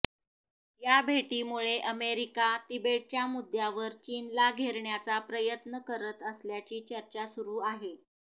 या भेटीमुळे अमेरिका तिबेटच्या मुद्यावर चीनला घेरण्याचा प्रयत्न करत असल्याची चर्चा सुरू आहे